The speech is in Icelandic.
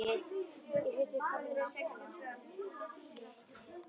Í fyrstu kannaðist hún ekki við það og varð óróleg.